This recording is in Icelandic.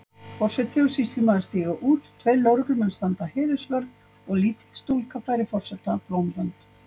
Forseti og sýslumaður stíga út, tveir lögreglumenn standa heiðursvörð og lítil stúlka færir forseta blómvönd.